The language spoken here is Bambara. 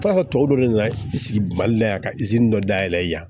tɔ dɔ de nana i sigi mali la yan ka dɔ dayɛlɛ yan